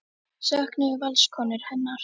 Söknuðu Valskonur hennar?